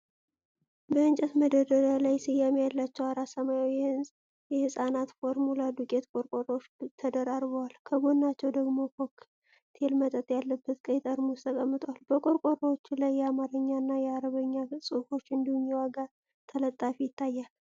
በእንጨት መደርደሪያ ላይ ስያሜ ያላቸው አራት ሰማያዊ የሕፃናት ፎርሙላ ዱቄት ቆርቆሮዎች ተደራርበዋል። ከጎናቸው ደግሞ ኮክቴል መጠጥ ያለበት ቀይ ጠርሙስ ተቀምጧል። በቆርቆሮዎቹ ላይ የአማርኛ እና የአረብኛ ጽሑፎች እንዲሁም የዋጋ ተለጣፊ ይታያል።